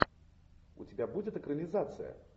у тебя будет экранизация